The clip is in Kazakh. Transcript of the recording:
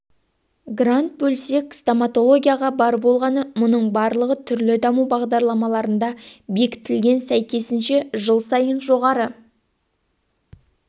грант бөлсек стоматологияға бар болғаны мұның барлығы түрлі даму бағдарламаларында бекітілген сәйкесінше жыл сайын жоғары